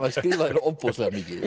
skrifaði ofboðslega mikið